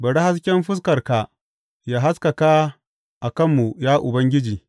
Bari hasken fuskarka yă haskaka a kanmu, ya Ubangiji.